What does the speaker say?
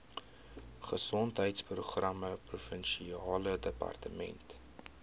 gesondheidsprogramme provinsiale departement